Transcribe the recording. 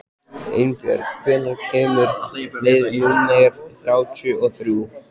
Einbjörg, hvenær kemur leið númer þrjátíu og þrjú?